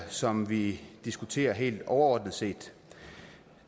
som vi diskuterer helt overordnet set